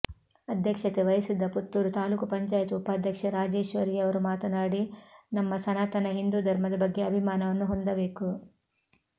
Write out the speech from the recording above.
ಅಧ್ಯಕ್ಷತೆ ವಹಿಸಿದ್ದ ಪುತೂರು ತಾಲೂಕು ಪಂಚಾಯತ್ ಉಪಾಧ್ಯಕ್ಷೆ ರಾಜೇಶ್ವರಿಯವರು ಮಾತನಾಡಿ ನಮ್ಮ ಸನಾತನ ಹಿಂದೂ ಧರ್ಮದ ಬಗ್ಗೆ ಆಭಿಮಾನವನ್ನು ಹೊಂದಬೇಕು